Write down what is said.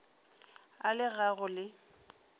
a le ga go le